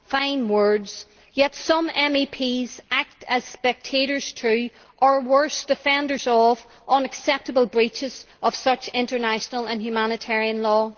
Fine words, yet some MEPs act as spectators too, or worse, defenders of unacceptable breaches of such international and humanitarian law.